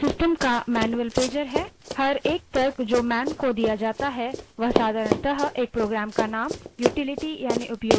man system का मैन्यूअल pager है प्रत्येक तर्क जो man को दिया जाता है वह साधारणतः एक program का name utility यानि उपयोगिता या function होता है